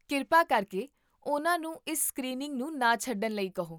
ਕਿਰਪਾ ਕਰਕੇ ਉਹਨਾਂ ਨੂੰ ਇਸ ਸਕ੍ਰੀਨਿੰਗ ਨੂੰ ਨਾ ਛੱਡਣ ਲਈ ਕਹੋ